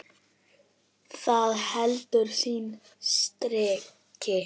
Það heldur sínu striki.